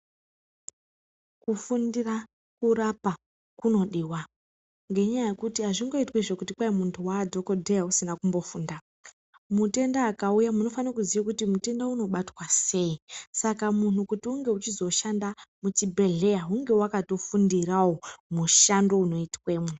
Kufundira kurapa kunodiwa ngenyaya yekuti hazvingoitwizve kuti kwahi muntu waadhokodheya usina kumbofunda. Mutenda akauya munofane kuziya kuti mutenda unobatwa sei. Saka munhu kuti unge uchizoshanda muchibhehleya hunge wakatofundirawo mushando unoitwemwo.